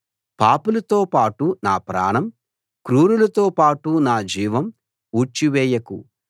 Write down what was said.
పాపులతో పాటు నా ప్రాణం క్రూరులతో పాటు నా జీవం ఊడ్చి వేయకు